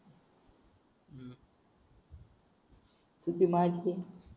चुकी माझी आहे